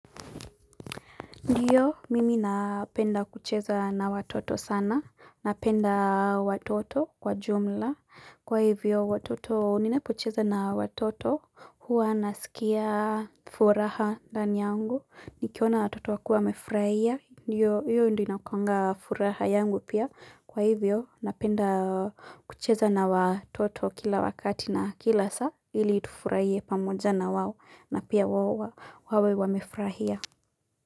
Ndio, mimi napenda kucheza na watoto sana, napenda watoto kwa jumla, kwa hivyo, watoto, ninapocheza na watoto, huwa nasikia furaha ndani yangu, nikiona watoto wakiwa wamefurahia, ndiyo, hiyo ndio inakuanga furaha yangu pia, kwa hivyo, napenda kucheza na watoto kila wakati na kila saa, ili tufurahie pamoja na wao, na pia wao wawe wamefurahia.